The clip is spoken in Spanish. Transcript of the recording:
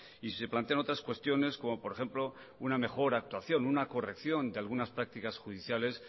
y sí se plantean otras cuestiones como por ejemplo una mejor actuación una corrección de lagunas prácticas judiciales